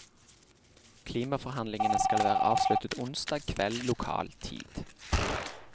Klimaforhandlingene skal være avsluttet onsdag kveld lokal tid.